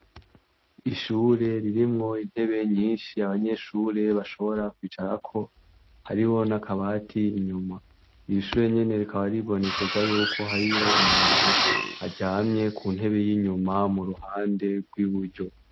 Ishure ririmwo intebe nyinshi, abanyeshure bashobora kw'icarako, hariho n'akabati inyuma. Ishure nyene rikaba ryibonekeza ko harih' umuntu aryamye ku ntebe y'inyuma ku ruhande rw'iburyo.